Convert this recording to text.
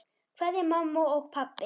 Kveðja, mamma og pabbi.